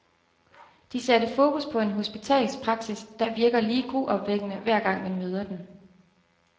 De satte fokus på en hospitalspraksis, der virker lige gruopvækkende, hver gang man møder den.